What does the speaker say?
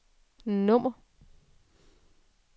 nummer